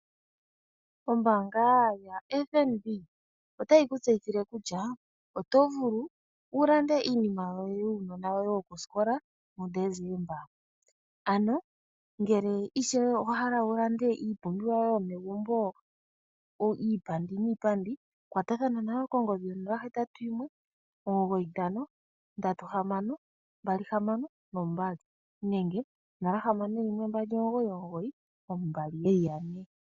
Ombaanga yotango yopashigwana otayi ku tseyithile kutya, oto vulu wu lande iinima yuunona woye yokosikola puDecemba. Ano ngele ishewe owa hala wu lande iipumbiwa yoye yomegumbo iipandi niipandi, kwatathana nayo kongodhi yo nola hetatu yimwe omugoyi ntano, ondatu nohamano mbali hamano nombali. Nenge nola hamano yimwe